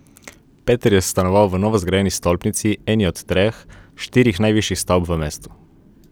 Peter je stanoval v novozgrajeni stolpnici, eni od treh, štirih najvišjih stavb v mestu.